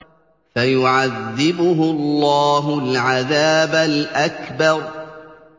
فَيُعَذِّبُهُ اللَّهُ الْعَذَابَ الْأَكْبَرَ